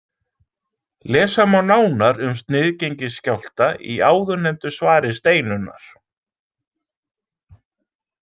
Lesa má nánar um sniðgengisskjálfta í áðurnefndu svari Steinunnar